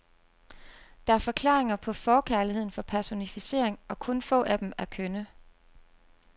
Der er forklaringer på forkærligheden for personificering og kun få af dem er kønne.